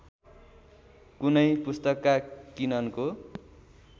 कुनै पुस्तकका किननको